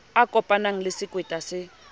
a kopanang le sekweta se